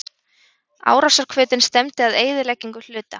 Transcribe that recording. Árásarhvötin stefndi að eyðileggingu hluta.